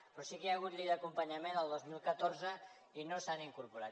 però sí que hi ha hagut llei d’acompanyament el dos mil catorze i no s’ha incorporat